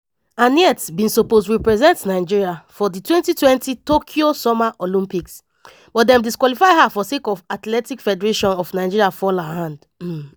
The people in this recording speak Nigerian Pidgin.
annette bin suppose represent nigeria for di 2020 tokyo summer olympics but dem disqualify her sake of athletic federation of nigeria fall her hand.